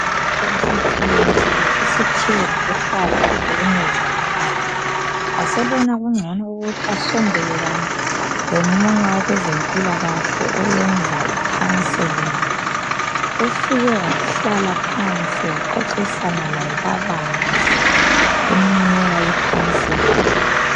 Ubesethwele nzima uSiphiwe ngokuhlala ehlukunyezwa ngumkakhe. Wasebona kungcono asondelelane lomunye wabeze mpilakahle oyenza I counseling. Ufike wahlala phansi, waxoxisana laye kabanzi emnika I counseling.